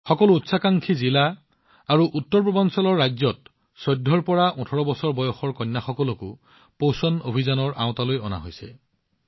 সকলো প্ৰত্যাশী জিলা আৰু উত্তৰপূবৰ ৰাজ্যত ১৪ ৰ পৰা ১৮ বছৰ বয়সৰ কন্যাসকলকো পোষণ অভিযানৰ অধীনলৈ অনা হৈছে